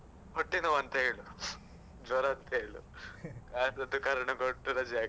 ಹೊಟ್ಟೆನೋವು ಅಂತ ಹೇಳು ಜ್ವರ ಅಂತ ಹೇಳು. ಯಾವ್ದಾದ್ರು ಕಾರಣ ಕೊಟ್ಟು ರಜೆ ಹಾಕು.